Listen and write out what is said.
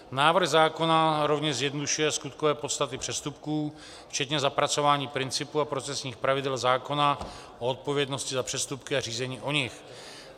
Návrh zákona rovněž zjednodušuje skutkové podstaty přestupků včetně zapracování principu a profesních pravidel zákona o odpovědnosti za přestupky a řízení o nich.